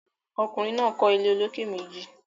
ọkùnrin náà kọ́ ilé olókè méjì.